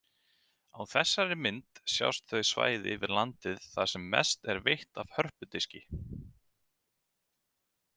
Á þessari mynd sjást þau svæði við landið þar sem mest er veitt af hörpudiski.